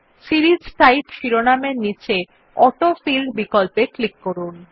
series type শিরোনামের নীচে autofill বিকল্পে ক্লিক করুন